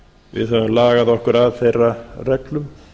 við höfum lagað okkur að þeirra reglum